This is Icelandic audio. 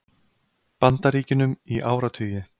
Bandaríkjunum í áratugi.